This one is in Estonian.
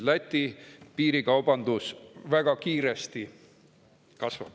Läti piirikaubandus kasvab väga kiiresti.